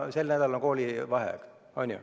Sel nädalal on koolivaheaeg.